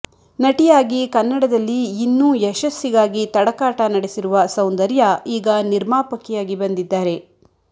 ನಟಿಯಾಗಿ ಕನ್ನಡದಲ್ಲಿ ಇನ್ನೂ ಯಶಸ್ಸಿಗಾಗಿ ತಡಕಾಟ ನಡೆಸಿರುವ ಸೌಂದರ್ಯ ಈಗ ನಿರ್ಮಾಪಕಿಯಾಗಿ ಬಂದಿದ್ದಾರೆ